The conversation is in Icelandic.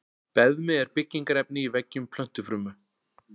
Beðmi er byggingarefni í veggjum plöntufruma.